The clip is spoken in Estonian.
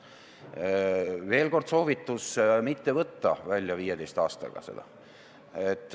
Veel kord, soovitan mitte võtta sealt raha välja 15 aasta möödudes.